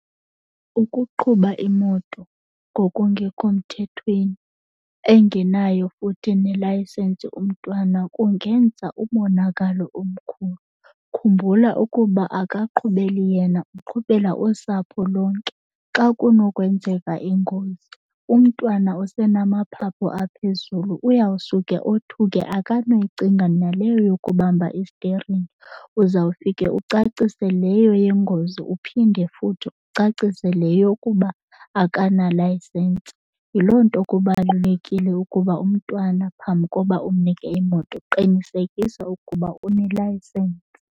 Ukuqhuba imoto ngokungekho mthethweni engenayo futhi nelayisensi umntwana kungenza umonakalo omkhulu. Khumbula ukuba akaqhubeli yena, uqhubela usapho lonke. Xa kunokwenzeka ingozi umntwana usenamaphaphu aphezulu, uyawusuke othuke akanoyicinga naleyo yokubamba isteringi. Uzawufike ucacise leyo yengozi uphinde futhi uthi ucacise le yokuba akanalayisensi. Yiloo nto kubalulekile ukuba umntwana phambi koba umnike imoto qinisekisa ukuba unelayisensi.